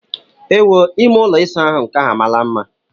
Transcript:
Ewoo! Ime ụlọ ịsa ahụ nke a amaala mma!